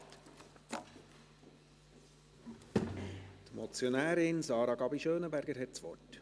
Die Motionärin Sarah Gabi Schönenberger hat das Wort.